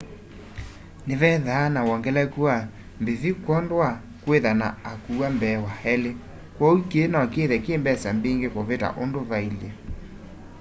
nĩvethaa na wongelekũ wa mbĩvya kwondũ wa kwĩtha na akũwa mbee wa elĩ kwooũ kĩĩ nokĩthe kĩmbesa mbĩngĩ kũvita ũndũ vaĩle